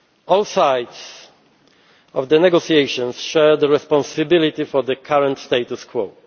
All sides in the negotiations share the responsibility for the current status